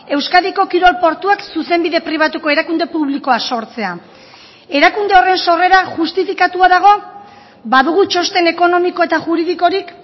euskadiko kirol portuak zuzenbide pribatuko erakunde publikoa sortzea erakunde horren sorrera justifikatua dago badugu txosten ekonomiko eta juridikorik